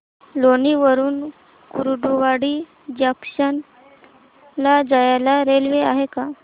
लोणी वरून कुर्डुवाडी जंक्शन ला जायला रेल्वे आहे का